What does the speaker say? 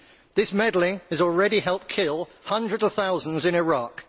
This meddling has already helped kill hundreds of thousands in Iraq.